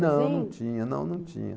Não, num tinha. Sério? Não, num tinha.